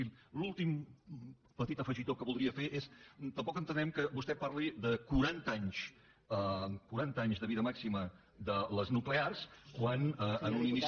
i l’últim petit afegitó que voldria fer és tampoc entenem que vostè parli de quaranta anys de vida màxima de les nuclears quan en un inici